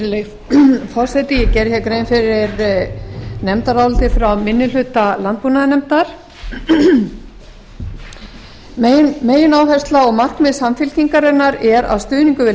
virðulegi forseti ég gerði grein fyrir nefndaráliti frá minni hluta landbúnaðarnefndar megináhersla og markmið samfylkingarinnar er að stuðningur við